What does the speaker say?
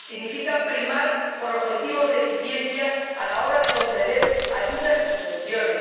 significa primar por objetivos de eficiencia a la hora de conceder ayudas y subvenciones